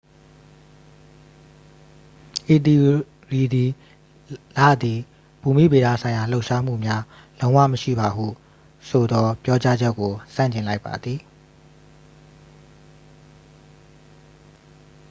ဤသီအိုရီသည် လသည် ဘူမိဗေဒဆိုင်ရာလှုပ်ရှားမှုများလုံးဝမရှိပါဟုဆိုသော ပြောကြားချက်ကို ဆန့်ကျင်လိုက်ပါသည်